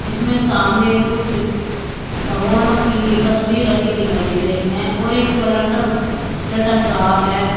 इसमें सामने कुछ भगवानों की तस्वीर रखी दिखाई दे रही हैं और एक कलंडर लटक रहा है।